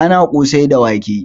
Ana ƙosai da wake